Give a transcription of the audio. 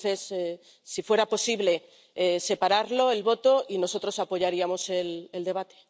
Entonces, si fuera posible, pedimos separar el voto, y nosotros apoyaríamos el debate.